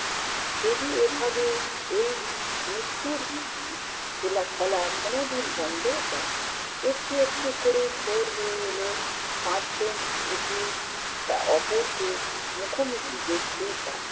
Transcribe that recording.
যদি এভাবে এই মৃত্যুর উহ খিলা খেলা কোনোদিন বন্ধও হয়। একটু একটু করে ভোর হয়ে এলো, পাঁচজন একে অপরকে মুখোমুখি দেখতে পায়।